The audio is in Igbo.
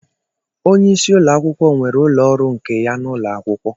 Onye isi ụlọakwụkwọ nwere ụlọ ọrụ nke ya n'ụlọ akwụkwọ